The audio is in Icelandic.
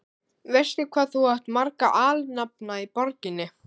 Veistu, hvað þú átt marga alnafna í borginni?